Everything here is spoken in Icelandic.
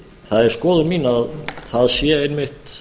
það er skoðun mín að það sé einmitt